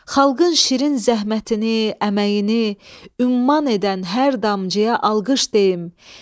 Xalqın şirin zəhmətini, əməyini umman edən hər damcıya alqış deyin.